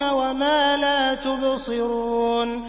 وَمَا لَا تُبْصِرُونَ